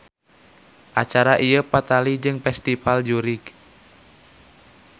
Acara ieu patali jeung festival jurig.